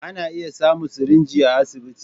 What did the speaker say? Ana iya samun sirinji a asibiti.